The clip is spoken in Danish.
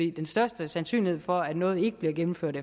er den største sandsynlighed for at noget ikke bliver gennemført